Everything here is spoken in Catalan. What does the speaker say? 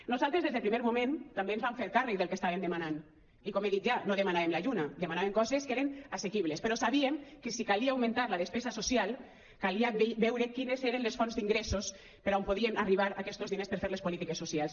nosaltres des del primer moment també ens vam fer càrrec del que estàvem demanant i com he dit ja no demanàvem la lluna demanàvem coses que eren assequibles però sabíem que si calia augmentar la despesa social calia veure quines eren les fonts d’ingressos per on podien arribar aquestos diners per fer les polítiques socials